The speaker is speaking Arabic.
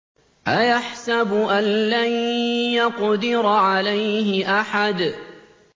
أَيَحْسَبُ أَن لَّن يَقْدِرَ عَلَيْهِ أَحَدٌ